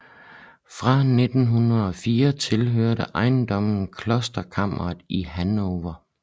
Fra 1904 tilhørte ejendommen klosterkamret i Hannover